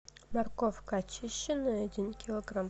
морковка очищенная один килограмм